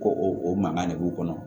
Ko o mankan de b'u kɔnɔ